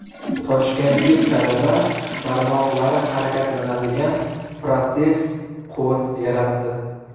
Toshkentlik talaba barmoqlari harakatlanadigan protez qo‘l yaratdi.